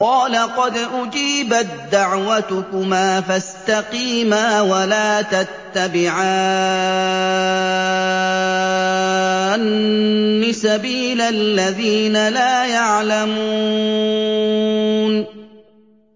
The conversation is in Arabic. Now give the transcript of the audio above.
قَالَ قَدْ أُجِيبَت دَّعْوَتُكُمَا فَاسْتَقِيمَا وَلَا تَتَّبِعَانِّ سَبِيلَ الَّذِينَ لَا يَعْلَمُونَ